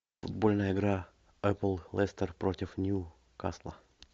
футбольная игра апл лестер против ньюкасла